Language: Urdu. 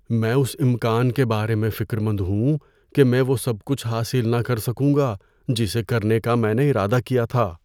میں اس امکان کے بارے میں فکر مند ہوں کہ میں وہ سب کچھ حاصل نہ کر سکوں گا جسے کرنے کا میں نے ارادہ کیا تھا۔